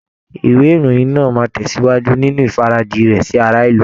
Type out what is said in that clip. Ìwé ìròyìn náà máa tẹ̀sìwájú nínú ìfarajì rẹ̀ sí ará ìlú.